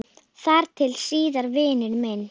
Þar til síðar, vinur minn.